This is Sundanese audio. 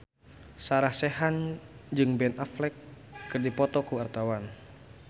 Sarah Sechan jeung Ben Affleck keur dipoto ku wartawan